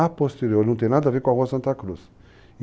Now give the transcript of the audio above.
posterior não tem nada a ver com a Rua Santa Cruz.